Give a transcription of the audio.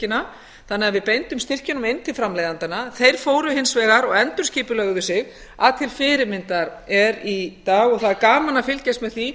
framleiðslustyrkina þannig að við beindum styrkjunum inn til framleiðendanna þeir fóru hins vegar og endurskipulögðu sig að til fyrirmyndar er í dag og það er gaman að fylgjast með því